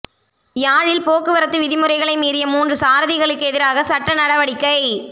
யாழில் போக்குவரத்து விதிமுறைகளை மீறிய மூன்று சாரதிகளுக்கெதிராகச் சட்ட நடவடிக்கை